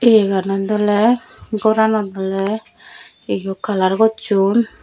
iyenot awle goranot awle yot kalar gosson.